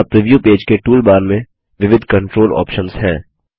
यहाँ preview page के toolbar में विविध कन्ट्रोल ऑप्शन्स हैं